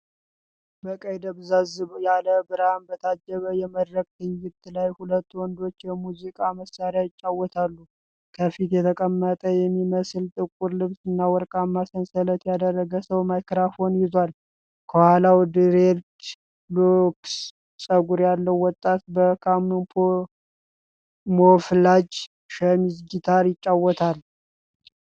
በቀይ ደብዘዝ ያለ ብርሃን በታጀበ የመድረክ ትዕይንት ላይ ሁለት ወንዶች የሙዚቃ መሣሪያ ይጫወታሉ። ከፊት የተቀመጠ የሚመስለው ጥቁር ልብስና ወርቃማ ሰንሰለት ያደረገ ሰው ማይክሮፎን ይዟል። ከኋላው ድሬድ ሎክስ ፀጉር ያለው ወጣት በካሞፍላጅ ሸሚዝ ጊታር ይጫወታል።